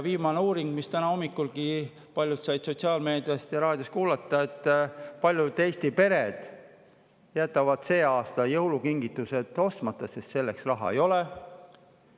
Viimane uuring, mille kohta täna hommikulgi paljud said sotsiaalmeediast ja raadiost kuulata,, et paljud Eesti pered jätavad sel aastal jõulukingitused ostmata, sest selleks raha ei ole.